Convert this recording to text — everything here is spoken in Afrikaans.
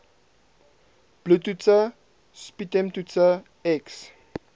bloedtoetse sputumtoetse x